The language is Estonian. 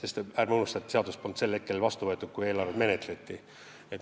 Aga ärme unustame, et seda seadust polnud vastu võetud, kui eelarvet menetleti.